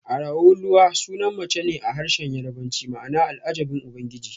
Araoluwa sunan mace ne a harshen Yarbanci ma'ana Al'ajabin Ubangiji